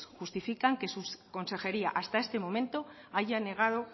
justifican que su consejería hasta este momento haya negado